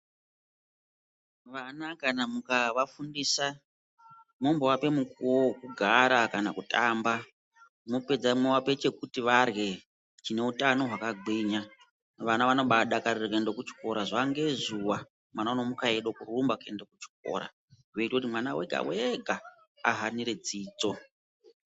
Vana kana mukavafundisa momboape mukuwo wekugara kana kutamba mwopedza mwoape chekuti varye chineutano hwakagwinya .Vana vanobaadakarire kuenda kuchikora zuwa ngezuwa mwana unomuka eide kurumba kuenda kuchikora , zvinoita kuti mwana wega wega ahanire dzidzo .